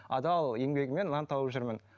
адал еңбегіммен нан тауып жүрмін